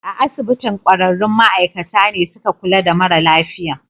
A asibitin, kwararrun ma'aikata ne suka kula da mara lafiyan